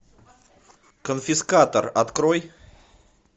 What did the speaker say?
конфискатор открой